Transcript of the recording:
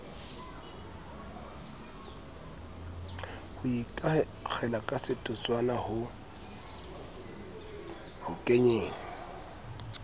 ho ikakgela kasetotswana ho kenyeng